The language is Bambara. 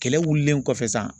Kɛlɛ wulilen kɔfɛ san.